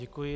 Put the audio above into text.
Děkuji.